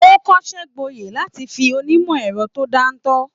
O kọsẹ gboye láti fí onimọ ẹrọ to dantọ.